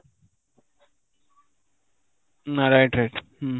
ନା, right right ହୁଁ